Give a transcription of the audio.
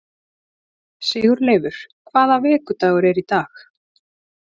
Sigurleifur, hvaða vikudagur er í dag?